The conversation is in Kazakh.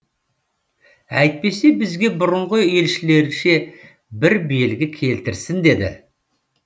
әйтпесе бізге бұрынғы елшілерше бір белгі келтірсін деді